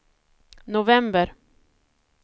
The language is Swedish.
november